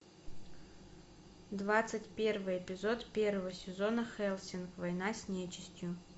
двадцать первый эпизод первого сезона хельсинг война с нечистью